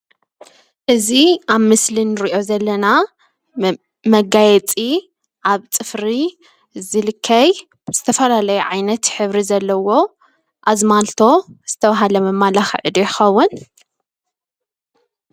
እዚ ኣብ ምስሊ ንሪኦ ዘለና መጋየፂ ኣብ ፅፍሪ ዝልከይ ዝተፈለላዩ ዓይነት ሕብሪ ዘለዎ ኣዝማልቶ ዝተባሃለ መማለኽዒ ዶ ይኸውን ?